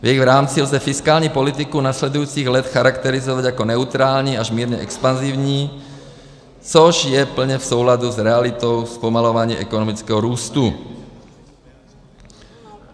V jejich rámci lze fiskální politiku následujících let charakterizovat jako neutrální až mírně expanzivní, což je plně v souladu s realitou zpomalování ekonomického růstu.